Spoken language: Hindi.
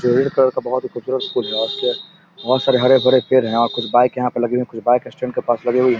का बहुत ही खुबसूरत बहुत सारे हरे-भरे पेड़ है और कुछ बाइक यहां पे लगे है कुछ बाइक स्टैंड के पास लगे हुए है ।